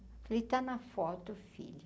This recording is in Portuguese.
Ele está na foto, filha.